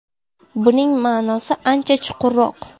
Buning ma’nosi ancha chuqurroq.